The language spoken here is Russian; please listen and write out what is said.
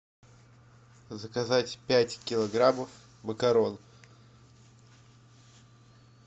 заказать пять килограммов макарон